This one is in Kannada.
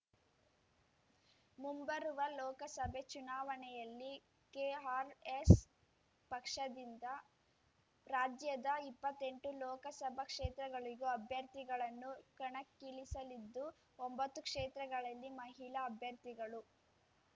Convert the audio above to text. ಮುಂಬರುವ ಲೋಕಸಭೆ ಚುನಾವಣೆಯಲ್ಲಿ ಕೆಆರ್‌ಎಸ್‌ ಪಕ್ಷದಿಂದ ರಾಜ್ಯದ ಇಪ್ಪತ್ತೆಂಟು ಲೋಕಸಭಾ ಕ್ಷೇತ್ರಗಳಿಗೂ ಅಭ್ಯರ್ಥಿಗಳನ್ನು ಕಣಕ್ಕಿಳಿಸಲಿದ್ದು ಒಂಬತ್ತು ಕ್ಷೇತ್ರಗಳಲ್ಲಿ ಮಹಿಳಾ ಅಭ್ಯರ್ಥಿಗಳು